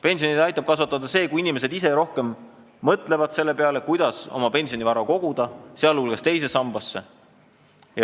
Pensione aitab kasvatada see, kui inimesed ise rohkem mõtlevad selle peale, kuidas oma pensionivara koguda, sh teise sambasse.